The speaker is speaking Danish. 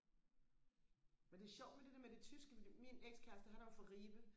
men det er sjovt med det der med det tyske fordi min ex kæreste han er jo fra Ribe